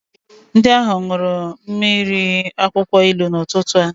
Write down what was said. Ndị ahụ ṅụrụ mmiri akwụkwọ ilu n'ụtụtụ a.